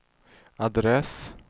adress